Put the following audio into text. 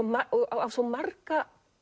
á svo marga